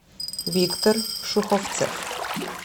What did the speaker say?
виктор шуховцев